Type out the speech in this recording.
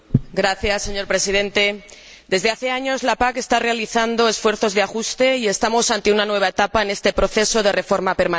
Señor Presidente, desde hace años la PAC está realizando esfuerzos de ajuste y ahora estamos ante una nueva etapa en este proceso de reforma permanente.